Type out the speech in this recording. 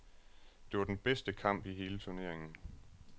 Det var den bedste kamp i hele turneringen.